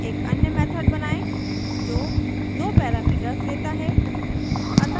एक अन्य method बनाएँ जो दो parameters let है